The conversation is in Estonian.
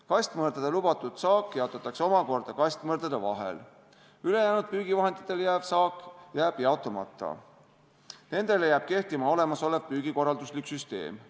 Kastmõrdade lubatud saak jaotatakse omakorda kastmõrdade vahel, ülejäänud püügivahenditele jääv saak jääb jaotamata, nende kohta jääb kehtima olemasolev püügikorralduslik süsteem.